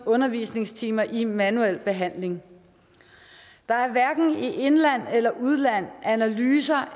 undervisningstimer i manuel behandling der er hverken i indland eller udland analyser